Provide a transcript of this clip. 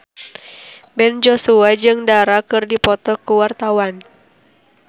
Ben Joshua jeung Dara keur dipoto ku wartawan